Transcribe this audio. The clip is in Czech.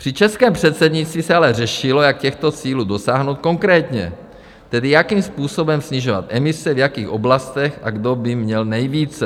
Při českém předsednictví se ale řešilo, jak těchto cílů dosáhnout konkrétně, tedy jakým způsobem snižovat emise, v jakých oblastech a kdo by měl nejvíce.